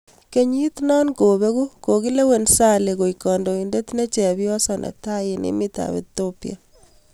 Kenyiit no kobeeku, kokilewen Sahle, koeek kandoindet ne chepyoso netai eng' emet ap ethiopia